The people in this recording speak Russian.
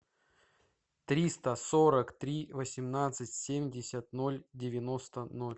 триста сорок три восемнадцать семьдесят ноль девяносто ноль